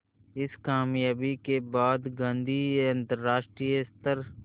इस क़ामयाबी के बाद गांधी अंतरराष्ट्रीय स्तर